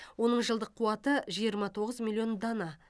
оның жылдық қуаты жиырма тоғыз миллион дана